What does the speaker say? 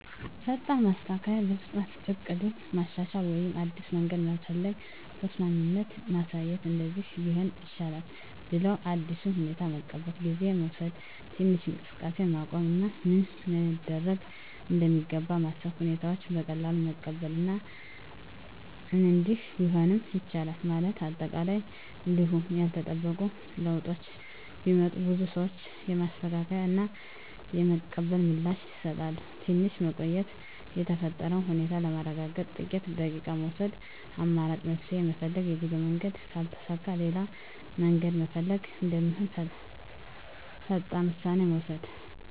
ፈጣን ማስተካከያ – በፍጥነት እቅዱን ማሻሻል ወይም አዲስ መንገድ መፈለግ። ተስማሚነት ማሳየት – “እንደዚህ ቢሆን ይሻላል” ብለው አዲሱን ሁኔታ መቀበል። ጊዜ መውሰድ – ትንሽ እንቅስቃሴን ማቆም እና ምን መደረግ እንደሚገባ ማሰብ። ሁኔታውን በቀላሉ መቀበል እና “እንዲህ ቢሆንም ይቻላል” ማለት። አጠቃላይ እንዲሁ ያልተጠበቁ ለውጦች ቢመጡም፣ ብዙ ሰዎች የማስተካከያ እና የመቀበል ምላሽ ይሰጣሉ። ትንሽ መቆየት – የተፈጠረውን ሁኔታ ለማረጋገጥ ጥቂት ደቂቃ መውሰድ። አማራጭ መፍትሄ ፈልግ – የጉዞ መንገድ ካልተሳካ ሌላ መንገድ መፈለግ እንደሚሆን ፈጣን ውሳኔ መውሰድ።